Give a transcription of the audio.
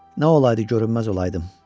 Nə olaydı görünməz olaydım.